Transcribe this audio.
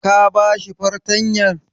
Ka ba shi fartanyan??